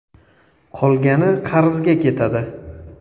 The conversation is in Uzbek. Qolgani qarzga ketadi.